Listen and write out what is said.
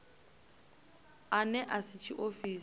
ane a si a tshiofisi